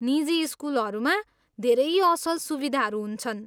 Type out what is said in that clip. निजी स्कुलहरूमा धेरै असल सुविधाहरू हुन्छन्।